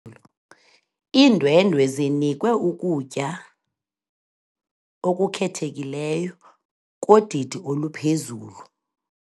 Iindwendwe zinikwe ukutya okukhethekileyo kodidi oluphezulu.